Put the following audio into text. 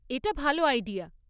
এটা ভাল আইডিয়া।